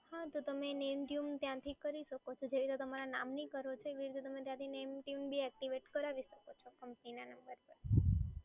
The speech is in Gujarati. હા તો તમે એને name tune ત્યાંથી કરી શકો છો, જે રીતે તમારા નામની કરો છો એવી રીતે તમે ત્યાંથી name tune બી એક્ટિવેટ કરાવી શકો છો કંપનીના